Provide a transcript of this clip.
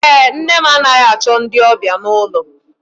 Èé, nne m anaghị achọ ndị ọbịa n'ụlọ.